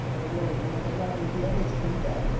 O yol, iz elədir deyə heç kim gəlmir.